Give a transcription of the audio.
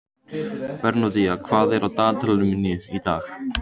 Bernódía, hvað er á dagatalinu í dag?